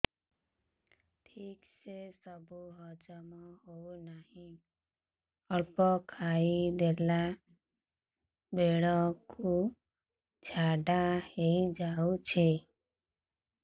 ଠିକସେ ସବୁ ହଜମ ହଉନାହିଁ ଅଳ୍ପ ଖାଇ ଦେଲା ବେଳ କୁ ଝାଡା ହେଇଯାଉଛି